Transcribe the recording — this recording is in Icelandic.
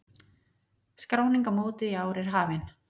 Skráning á mótið í ár er hafin.